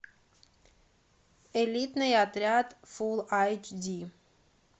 элитный отряд фул айч ди